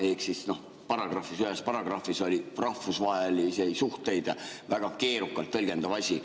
Ehk siis ühes paragrahvis oli "rahvusvahelised suhted" väga keerukalt tõlgendatav asi.